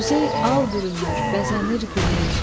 Quzey al bürünür, bəzənir güney.